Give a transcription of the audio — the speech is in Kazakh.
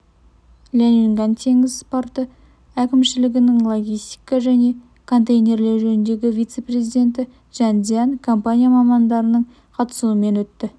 ляньюнган теңіз порты әкімшілігінің логистика және контейнерлеу жөніндегі вице-президент чжан цзыян компания мамандарының қатысуымен өтті